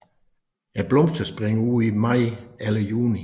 Blomsterne springer ud i maj eller juni